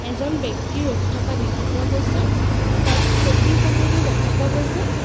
এজন ব্যক্তি ৰখি থকা দেখা পোৱা গৈছে তাত চকীসমূহো দেখা পোৱা গৈছে।